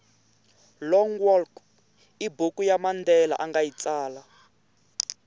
long walk ibhuku yamandela angayitsala